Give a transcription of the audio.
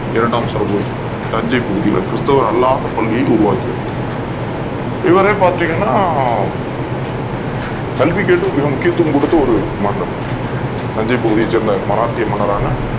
இரண்டாம் சரபோஜி தஞ்சை பகுதியில் கிறிஸ்தவ அல்லாத பள்ளியை உருவாக்கியவர் இவரே பாத்தீங்கன்னா கல்விக்கு முக்கியத்துவம் கொடுத்த ஒரு மன்னர் தஞ்சை பகுதியைச் சேர்ந்த மராத்திய மன்னரான